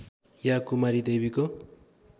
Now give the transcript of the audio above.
या कुमारी देवीको